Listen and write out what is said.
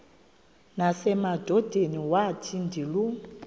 nasemadodeni wathi ndilu